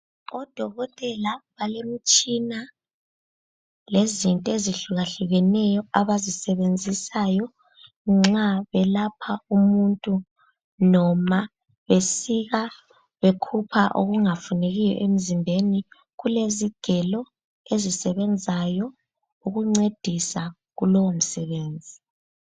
Odokotela balemtshina lezinto ezihlukahlukeneyo abazisebenzisayo nxa belapha umuntu noma besika bekhupha okungafunekiyo emzimbeni kulezigelo ezisebenzayo ukuncedisa kulowo msebenzi.